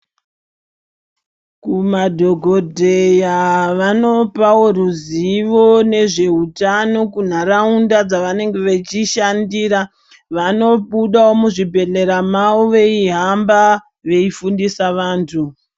Kumadhogodheya vanopavo ruzivo nezve utano kunharaunda dzavanenge vechishandira. Vanobudavo muzvibhedhlera mavo veihamba veifundisa vantu.